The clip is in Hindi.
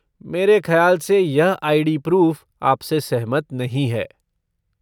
मेरे खयाल से यह आई.डी. प्रूफ़ आपसे सहमत नहीं है।